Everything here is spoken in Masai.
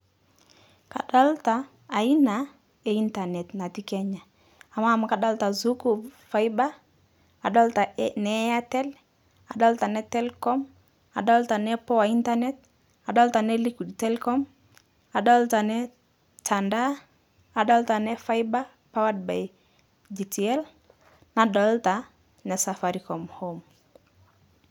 Kadolita aina eintanet natii Kenya, amaa amu kadolita Zuku, Faiba, adolita e ne Airtel, adolita ne Telkom, adolita ne poa internet, adolita ne LIQUID TELECOM, aolita ne tadaa adolita ne Faiba powered by GTL nadolita ne Safaricom HOME.